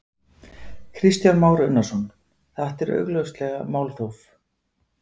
Kristján Már Unnarsson: Þetta er augljóslega málþóf?